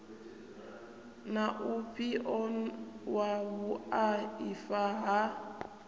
na ufhio wa vhuaifa ha